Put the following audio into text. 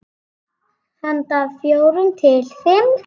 Handa fjórum til fimm